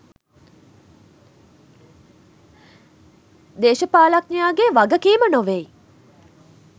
දේශපාලනඥයාගේ වගකීම නොවෙයි.